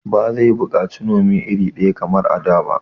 Ba zai buƙaci Nome iri daya ba kamar a da